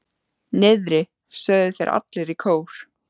Niðri, sögðu þeir allir í kór.